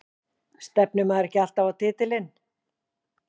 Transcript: Stefnir maður ekki alltaf á titilinn?